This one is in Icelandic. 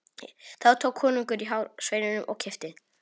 Þá tók konungur í hár sveininum og kippti.